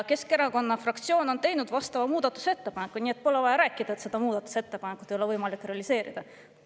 Keskerakonna fraktsioon on teinud vastava muudatusettepaneku, nii et pole vaja rääkida, et seda muudatusettepanekut ei ole võimalik realiseerida.